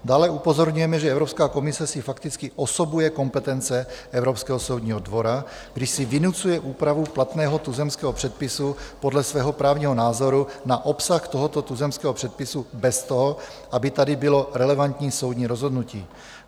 Dále upozorňujeme, že Evropská komise si fakticky osobuje kompetence Evropského soudního dvora, když si vynucuje úpravu platného tuzemského předpisu podle svého právního názoru na obsah tohoto tuzemského předpisu bez toho, aby tady bylo relevantní soudní rozhodnutí.